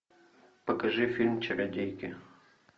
покажи фильм чародейки